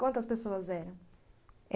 Quantas pessoas eram?